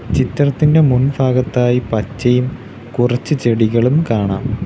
ചിത്രത്തിൻറെ മുൻഫാഗത്തായി പച്ചയും കുറച്ച് ചെടികളും കാണാം.